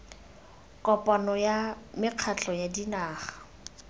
kopano ya mekgatlho ya dinaga